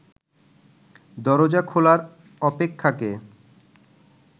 দরজা খোলার অপেক্ষাকে